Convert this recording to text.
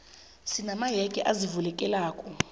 sina mayege azivulekelako